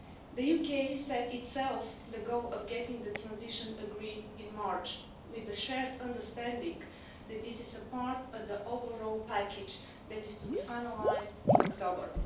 The UK set itself the goal of getting the transition agreed in March, with the shared understanding that this is a part of the overall package that is to be finalised in October.